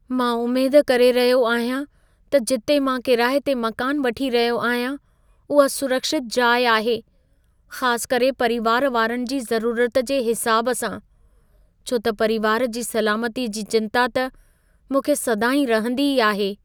मां उमेद करे रहियो आहियां त जिथे मां किराए ते मकानु वठी रहियो आहियां उहा सुरक्षितु जाइ आहे ख़ासि करे परीवारु वारनि जी ज़रूरत जे हिसाबु सां , छो त परीवारु जी सलामती जी चिंता त मूंखे सदाईं रहंदी ई आहे।